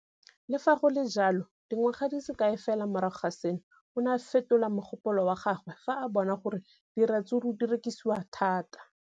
Le fa go le jalo, dingwaga di se kae fela morago ga seno, o ne a fetola mogopolo wa gagwe fa a bona gore diratsuru di rekisiwa thata.